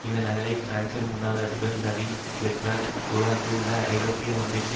இந்த நகலை பிரான்சின் முன்னாள் அதிபர் வலறி கிஸ்கார்ட் உருவாக்கியுள்ளார் ஐரோப்பிய ஒன்றியத்தின்